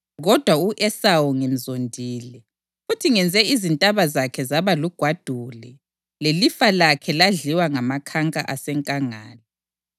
kodwa u-Esawu ngimzondile, futhi ngenze izintaba zakhe zaba lugwadule lelifa lakhe ladliwa ngamakhanka asenkangala.”